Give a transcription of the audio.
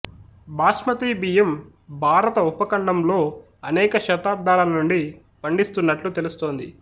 బాస్మతీ బియ్యం భారత ఉపఖండంలో అనేక శతాబ్దాల నుండి పండిస్తున్నట్లు తెలుస్తుంది